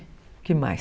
O que mais?